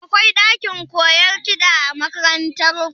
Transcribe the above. Akwai ɗakin koyon kiɗa a makarantar ku?